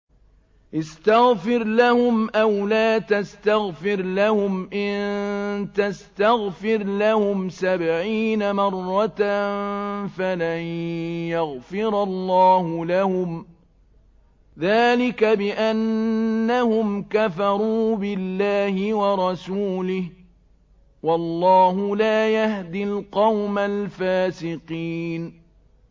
اسْتَغْفِرْ لَهُمْ أَوْ لَا تَسْتَغْفِرْ لَهُمْ إِن تَسْتَغْفِرْ لَهُمْ سَبْعِينَ مَرَّةً فَلَن يَغْفِرَ اللَّهُ لَهُمْ ۚ ذَٰلِكَ بِأَنَّهُمْ كَفَرُوا بِاللَّهِ وَرَسُولِهِ ۗ وَاللَّهُ لَا يَهْدِي الْقَوْمَ الْفَاسِقِينَ